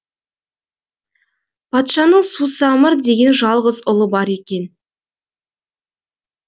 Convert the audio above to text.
патшаның сусамыр деген жалғыз ұлы бар екен